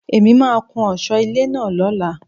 Èmi máà ń kún ọ̀sọ́ ilé náà lóla.